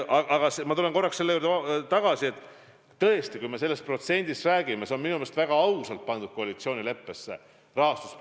Aga ma tulen korraks selle juurde tagasi, et kui me sellest protsendist räägime, siis see protsent on minu meelest väga ausalt koalitsioonileppesse pandud.